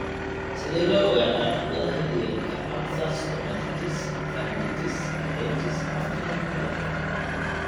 Sidee loo ogaadaa qandhada xilliyeedka, aphthous stomatitis, pharyngitis, adenitis afka ilmo-galeenka (PFAPA)?